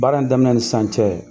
Baara in daminɛ ni san cɛ